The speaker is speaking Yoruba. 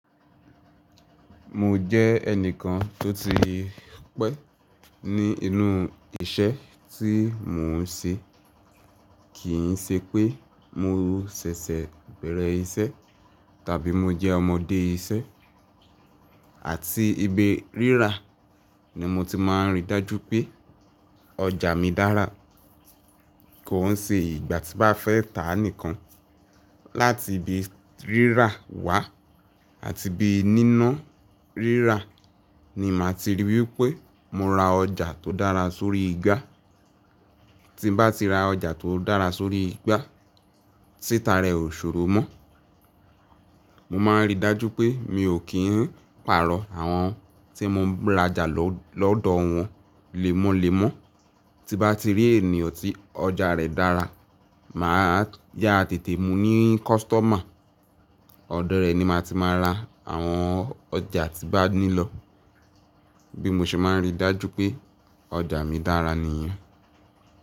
Mo jẹ́ ẹnìkan tó ti pẹ́ ní inú isẹ́ tí mò ń ṣe, kì ń ṣe pé mo ṣẹ̀ṣẹ̀ bẹ̀rẹ̀ isẹ́ tàbí mo jẹ́ ọmọdé isẹ́. Àti ibi rírà ni mo ti máa rí dájú pé ọjà mi dára, kò ń ṣe ìgbà tí bá fẹ́ tà nìkan. Láti ibi rírà wá àti bí níná rírà ni màá ti ríi wí pé mo ra ọjà tó dára sórí igba. Tí bá ti ra ọjà tó dára sórí igba, títa rẹ ò ṣòro mọ́. Mo máa rí dájú pé mi ò kí ń pààrọ̀ àwọn tí mo ń rajà lọ́dọ̀ wọn lémọ́lémọ́. Tí bá ti rí ènìyàn tí ọjà rẹ̀ dára, màá yá tètè mú ní kọ́sítọ́mà. Ọ̀dọ̀ rẹ̀ ni màá ti máa ra àwọn ọjà tí bá nílò bí mo ṣe máa rí dájú pé ọjà mi dára nìyẹn.